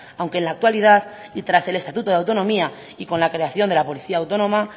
aunque en la actualidad y tras el estatuto de autonomía y con la creación de la policía autónoma